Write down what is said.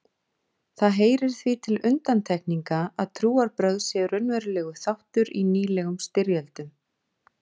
Það heyrir því til undantekninga að trúarbrögð séu raunverulegur þáttur í nýlegum styrjöldum.